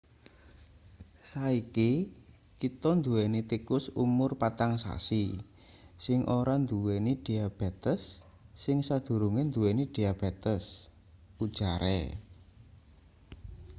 "saiki kita nduweni tikus umur-4-sasi sing ora-nduweni-diabetes sing sadurunge nduweni diabetes ujare.